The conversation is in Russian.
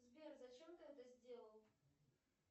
сбер зачем ты это сделал